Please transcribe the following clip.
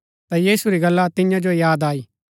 ता यीशु री गल्ला तियां जो याद आई